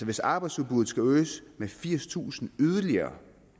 hvis arbejdsudbuddet skal øges med firstusind mere